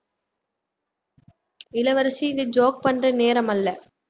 இளவரசி இது joke பண்ற நேரம் அல்ல